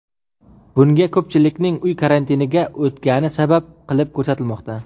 Bunga ko‘pchilikning uy karantiniga o‘tgani sabab qilib ko‘rsatilmoqda.